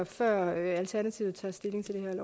før alternativet tager stilling til